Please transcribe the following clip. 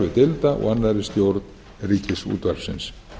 starfi deilda og annarri stjórn ríkisútvarpsins